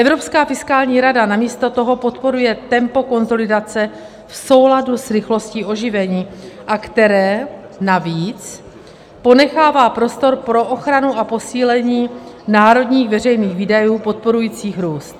Evropská fiskální rada namísto toho podporuje tempo konsolidace v souladu s rychlostí oživení, a které navíc ponechává prostor pro ochranu a posílení národních veřejných výdajů podporujících růst.